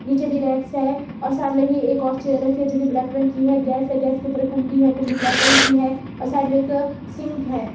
नीचे भी रैक्स है और सामने ही एक और चेयर रखी है जो कि ब्लैक रंग की है गैस है गैस के ऊपर कुंडी है कुंडी ब्लैक रंग की है और साइड में एक सिंक है।